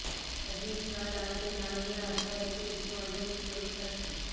admit card আনতে না গিয়ে আত্মঘাতী উচ্চ মাধ্যমিক পরিক্ষার্থী